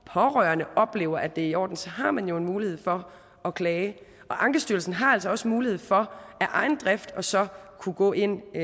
pårørende oplever at det er i orden så har man jo en mulighed for at klage og ankestyrelsen har altså også mulighed for af egen drift så at kunne gå ind i